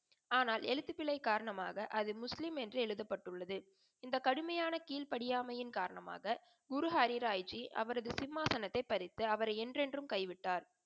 ஆனால் எழுத்துபிழை காரணமாக அது முஸ்லிம் என்று எழுதபட்டு உள்ளது. இந்த கடுமையான கிழ்படியாமையின் காரணமாக குரு ஹரி ராய்ஜி அவரது சிம்மாசனத்தை பறித்து அவரை என்றென்றும் கைவிட்டார்.